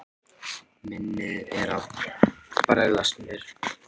Minnið er að bregðast mér.